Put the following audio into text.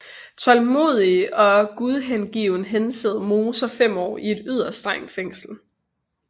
Tålmodig og gudhengiven hensad Moser 5 år i et yderst strengt fængsel